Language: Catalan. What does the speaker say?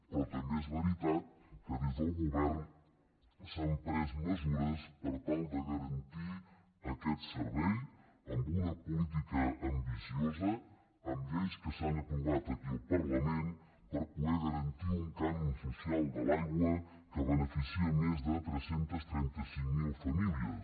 però també és veritat que des del govern s’han pres mesures per tal de garantir aquest servei amb una política ambiciosa amb lleis que s’han aprovat aquí al parlament per poder garantir un cànon social de l’aigua que beneficia més de tres cents i trenta cinc mil famílies